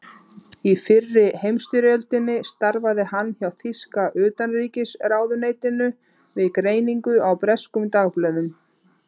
Í fyrri heimsstyrjöldinni starfaði hann hjá þýska utanríkisráðuneytinu við greiningu á breskum dagblöðum.